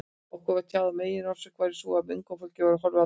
Okkur var tjáð að meginorsökin væri sú, að unga fólkið væri horfið á braut.